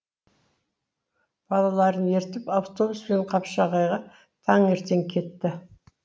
балаларын ертіп автобуспен қапшағайға таңертең кетті